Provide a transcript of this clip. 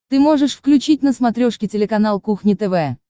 ты можешь включить на смотрешке телеканал кухня тв